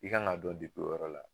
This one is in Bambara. I kan k'a o yɔrɔ la.